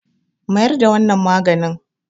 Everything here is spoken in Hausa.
mayar da wannan maganin!